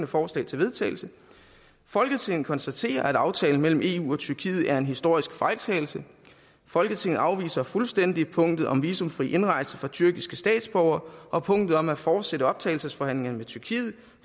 forslag til vedtagelse folketinget konstaterer at aftalen mellem eu og tyrkiet er en historisk fejltagelse folketinget afviser fuldstændig punktet om visumfri indrejse for tyrkiske statsborgere og punktet om at fortsætte optagelsesforhandlingerne med tyrkiet